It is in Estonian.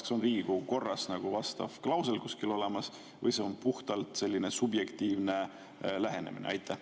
Kas on Riigikogu korras vastav klausel kuskil olemas või see on puhtalt selline subjektiivne lähenemine?